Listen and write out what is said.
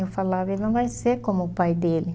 Eu falava, ele não vai ser como o pai dele.